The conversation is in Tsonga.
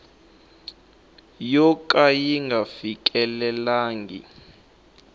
yo ka yi nga fikelelangi